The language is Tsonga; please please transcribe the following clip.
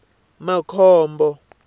makhombo